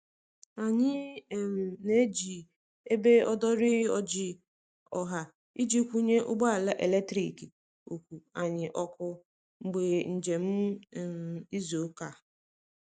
anyi um n'eji ebe odori ojịị ọha iji kwunye ụgbọ ala eletrikị (ọkụ)anyi oku mgbe njem um izu uka